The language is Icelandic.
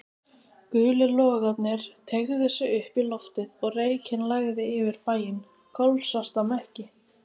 Gulir logarnir teygðu sig upp í loftið og reykinn lagði yfir bæinn, kolsvarta mekki.